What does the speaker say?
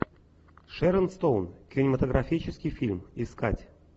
шэрон стоун кинематографический фильм искать